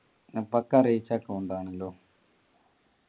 അപ്പൊക്കെ അറിയിച്ച account ആണല്ലോ